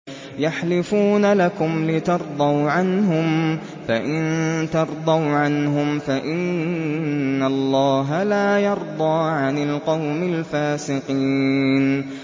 يَحْلِفُونَ لَكُمْ لِتَرْضَوْا عَنْهُمْ ۖ فَإِن تَرْضَوْا عَنْهُمْ فَإِنَّ اللَّهَ لَا يَرْضَىٰ عَنِ الْقَوْمِ الْفَاسِقِينَ